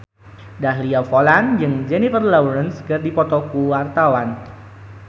Dahlia Poland jeung Jennifer Lawrence keur dipoto ku wartawan